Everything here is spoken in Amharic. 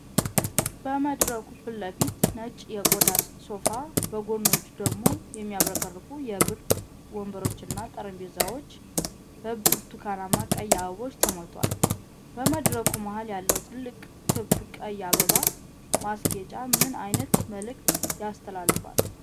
በመድረኩ ፊት ለፊት ነጭ የቆዳ ሶፋ፣ በጎኖቹ ደግሞ የሚያብረቀርቁ የብር ወንበሮችና ጠረጴዛዎች በብርቱካንና ቀይ አበባዎች ተሞልተዋል። በመድረኩ መሀል ያለው ትልቅ ክብ ቀይ አበባ ማስጌጫ ምን ዓይነት መልእክት ያስተላልፋል?